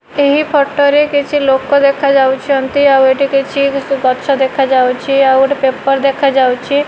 ଏହି ଫଟୋ ରେ କିଛି ଲୋକ ଦେଖାଯାଉଛନ୍ତି ଆଉ ଏଠି କିଛି ଗଛ ଦେଖାଯାଉଛି ଆଉ ଗୋଟେ ପେପର୍ ଦେଖାଯାଉଛି।